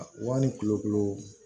Wa ni kulokolo